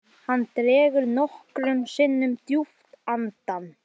Hann dregur nokkrum sinnum djúpt andann.